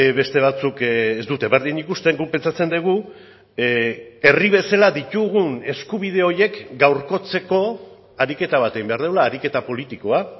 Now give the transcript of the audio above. beste batzuk ez dute berdin ikusten guk pentsatzen dugu herri bezala ditugun eskubide horiek gaurkotzeko ariketa bat egin behar dugula ariketa politikoa